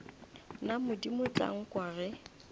na modimo tla nkwa ge